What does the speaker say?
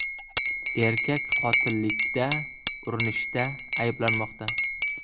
Erkak qotillikda urinishda ayblanmoqda.